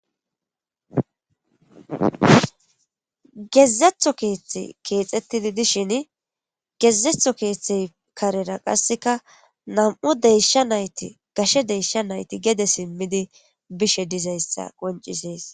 Gezetho keeththe keexettidi dishin gezetho keethethey karera qasseka nan'm deysha nayti gashe deysha nayti gede simmidi bishe dizayssa qoncisees.